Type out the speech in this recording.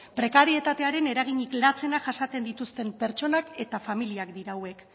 prekarietatearen eraginik latzenak jasaten dituzten pertsonak eta familiak dira hauek